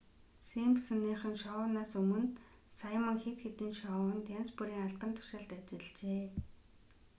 симпсоныхон шоунаас өмнө саймон хэд хэдэн шоунд янз бүрийн албан тушаалд ажиллажээ